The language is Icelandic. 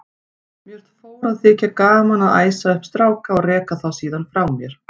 Mér fór að þykja gaman að æsa upp stráka og reka þá síðan frá mér.